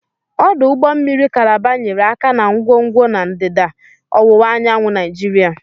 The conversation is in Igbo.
Ọdụ ụgbọ mmiri Kalaba nyere aka na ngwongwo na ndịda ọwụwa anyanwụ Nigeria.